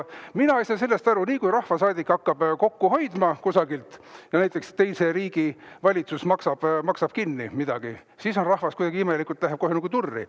Mina ei saa sellest aru, et nii kui rahvasaadik hakkab kokku hoidma kusagilt, näiteks teise riigi valitsus maksab kinni midagi, siis rahvas kuidagi imelikult läheb kohe nagu turri.